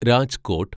Rajkot